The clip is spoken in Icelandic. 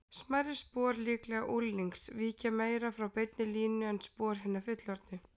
Smærri spor, líklega unglings, víkja meira frá beinni línu en spor hinna fullorðnu.